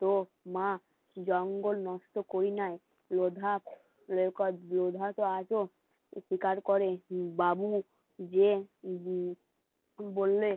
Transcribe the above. চোখ, মা জঙ্গল নষ্ট করি নাই টো আজ ও স্বীকার করে বাবু যে বললে